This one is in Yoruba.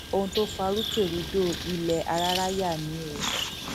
ohun tó fa rúkèrúdò ilẹ áráráyà ni o